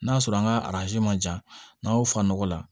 N'a sɔrɔ an ka ma jan n'a ye o fa nɔgɔ la